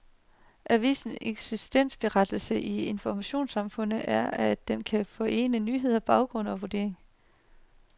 Avisens eksistensberettigelse i informationssamfundet er, at den kan forene nyhed, baggrund og vurdering.